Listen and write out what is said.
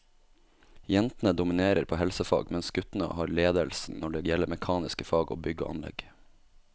Jentene dominerer på helsefag, mens guttene har ledelsen når det gjelder mekaniske fag og bygg og anlegg.